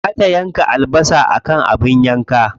Za ta yanka albasa akan abin yanka.